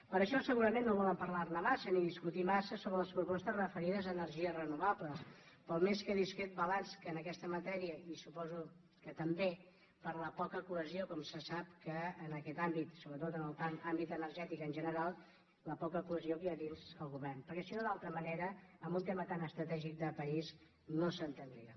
per això segurament no volen parlar·ne massa ni dis·cutir massa sobre les propostes referides a energies re·novables pel més que discret balanç que en aquesta matèria i suposo que també per la poca cohesió com se sap que en aquest àmbit sobretot en l’àmbit energètic en general la poca cohesió que hi ha dins del govern perquè si no d’altra manera en un tema tan estratègic de país no s’entendria